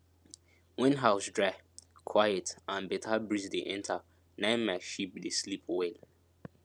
wen house dry quiet and beta breeze dey enter na im my sheep dey sleep well